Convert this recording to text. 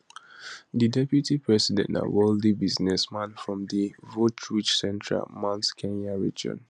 di deputy president na wealthy businessman from di voterich central mount kenya region